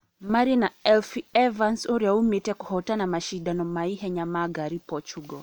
marĩ na Elfyn Evans ũrĩa umĩĩtĩ kũhotana macindano ma mahenya ma ngari portugal.